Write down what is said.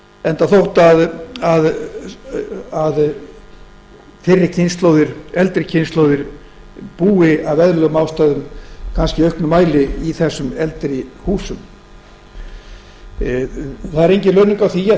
enda þótt fyrri kynslóðir eldri kynslóðir búi af eðlilegum ástæðum kannski í auknum mæli í eldri húsum það er engin launung á því að